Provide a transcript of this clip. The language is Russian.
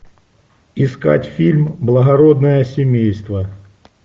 искать фильм благородное семейство